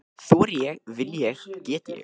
Þori ég- vil ég- get ég?